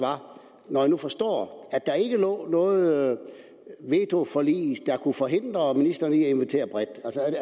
når jeg nu forstår at der ikke lå noget vetoforlig der kunne forhindre ministeren i at invitere bredt